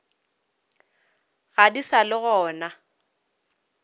ga di sa le gona